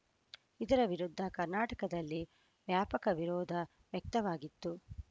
ಇದರ ವಿರುದ್ಧ ಕರ್ನಾಟಕದಲ್ಲಿ ವ್ಯಾಪಕ ವಿರೋಧ ವ್ಯಕ್ತವಾಗಿತ್ತು